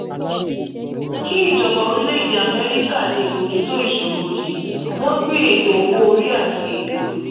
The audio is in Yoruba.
kí ìjọba orílẹ̀-èdè amẹ́ríkà lè bójú tó ìṣòro yìí wọ́n gbé ètò owó orí àti ètò